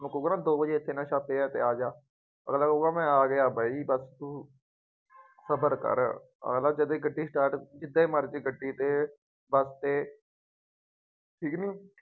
ਜੇ ਮੈਂ ਕਹੂੰਗਾ ਦੋ ਵਜੇ ਇੱਥੇ ਨਸ਼ਾ ਪਿਆ ਅਤੇ ਆ ਜਾ, ਘਗਲਾ ਕਹੂਗਾ ਮੈਂ ਆ ਗਿਆ ਬਾਈ, ਬੱਸ ਤੂੰ ਸਬਰ ਕਰ, ਅਗਲਾ ਜਦੇ ਹੀ ਗੱਡੀ start ਜਿਦੇ ਮਰਜ਼ੀ ਗੱਡੀ ਦੇ, ਬੱਸ ਤੇ ਠੀਕ ਕਿ ਨਹੀਂ